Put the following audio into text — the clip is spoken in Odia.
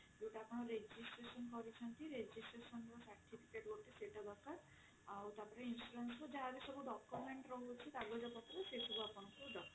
ଯୋଉଟା ଆପଣ registration କରିଛନ୍ତି registration ର certificate ସେଇଟା ଗୋଟେ ଦରକାର ଆଉ ତାପରେ insurance ର ଯାହାବି ସବୁ document ରହୁଛି କାଗଜ ପତ୍ର ସେ ସବୁ ଆପଣଙ୍କୁ ଦରକାର